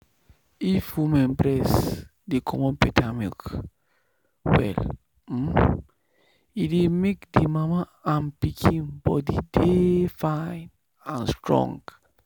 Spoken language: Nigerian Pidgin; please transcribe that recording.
if woman breast dey comot better milk well um e dey make the mama and pikin body dey fine and strong.